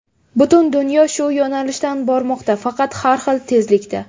Butun dunyo shu yo‘nalishdan bormoqda, faqat har xil tezlikda.